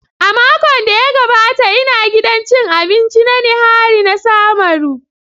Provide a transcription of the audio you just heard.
A makon da ya gabata ina gidan cin abinci na Nihari na samaru.